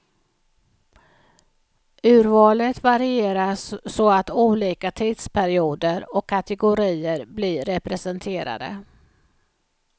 Urvalet varieras så att olika tidsperioder och kategorier blir representerade.